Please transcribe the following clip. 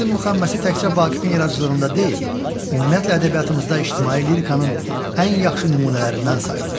Görmədim müxəmməsi təkcə Vaqifin yaradıcılığında deyil, ümumiyyətlə ədəbiyyatımızda ictimai lirikanın ən yaxşı nümunələrindən sayılır.